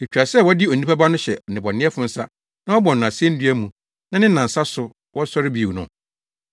‘Etwa sɛ wɔde Onipa Ba no hyɛ nnebɔneyɛfo nsa na wɔbɔ no asennua mu na ne nnansa so wasɔre bio’ no?”